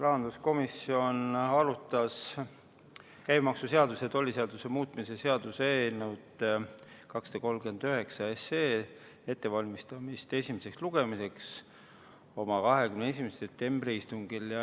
Rahanduskomisjon arutas käibemaksuseaduse ja tolliseaduse muutmise seaduse eelnõu 239 ettevalmistamist esimeseks lugemiseks oma 21. septembri istungil.